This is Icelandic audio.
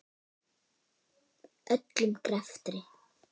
Öllum greftri